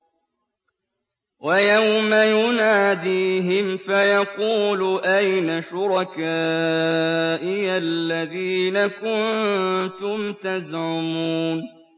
وَيَوْمَ يُنَادِيهِمْ فَيَقُولُ أَيْنَ شُرَكَائِيَ الَّذِينَ كُنتُمْ تَزْعُمُونَ